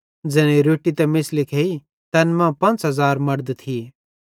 ज़ैनेईं रोट्टी त मेछ़ली खेइ तैन मां 5000 मड़द थिये